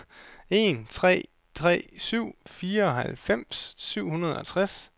en tre tre syv fireoghalvfems syv hundrede og tres